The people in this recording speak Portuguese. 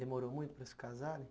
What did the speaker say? Demorou muito para se casarem?